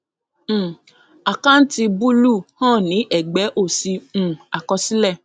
um àkántì búlúù hàn ní ẹgbẹ òsì um àkọsílẹ